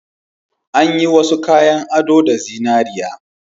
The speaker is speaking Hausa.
An yi wasu kayan ado da zinariya